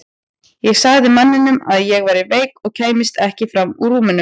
Ég sagði manninum að ég væri veik og kæmist ekki fram úr rúminu.